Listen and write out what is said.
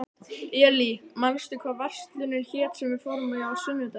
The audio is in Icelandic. Elí, manstu hvað verslunin hét sem við fórum í á sunnudaginn?